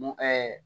Mun